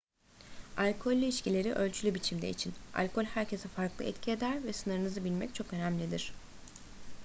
alkollü içkileri ölçülü biçimde için alkol herkese farklı etki eder ve sınırınızı bilmek çok önemlidir